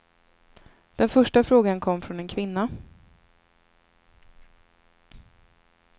Den första frågan kom från en kvinna.